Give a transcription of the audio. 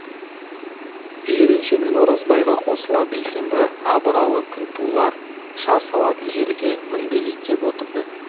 жиренше мен оразбайға қосыла бейсенбі абыралы күнтулар шар салатын жерге мінбелей кеп отырды